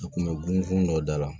A kun bɛ gun dɔ da la